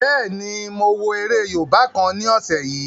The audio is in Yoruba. Bẹ́ẹ̀ni, mo wo eré yóòbá kan ní ọ̀sẹ̀ yìí